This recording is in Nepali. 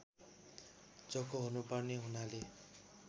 चोखो हुनुपर्ने हुनाले